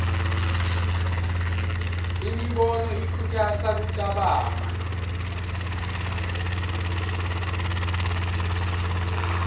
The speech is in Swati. imibono ikhutsata kucabanga